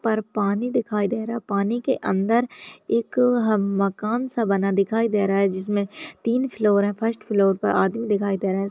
पर पानी दिखाई दे रहा है पानी के अंदर एक हम मकान सा बना दिखाई दे रहा है जिसमें तीन फ्लोर है फर्स्ट फ्लोर पर आदमी दिखाई दे रहा है। स् --